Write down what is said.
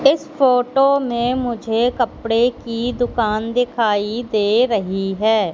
इस फोटो में मुझे कपड़े की दुकान दिखाई दे रही है।